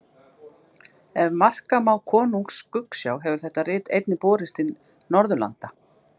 Ef marka má Konungs skuggsjá hefur þetta rit einnig borist til Norðurlanda.